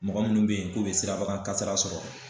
Mɔgɔ minnu be yen k'u bɛ sirabakan kasira sɔrɔ